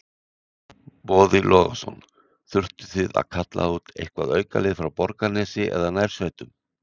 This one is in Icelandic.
Boði Logason: Þurftuð þið að kalla út eitthvað aukalið frá Borgarnesi eða nærsveitunum?